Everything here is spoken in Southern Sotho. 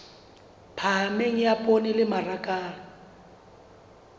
phahameng ya poone le mmaraka